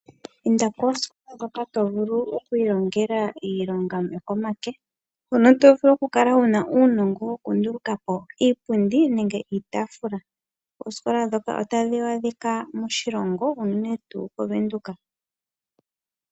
Inda koositola ndhono tovulu okwiilongela iilonga yokomake ,hono tovulu okukala wuna uunongo wokundulukapo iipundi niitaafula . Oositola ndhoka otadhi adhika unene moVenduka.